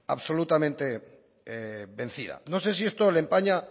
absolutamente vencida no sé si esto le empaña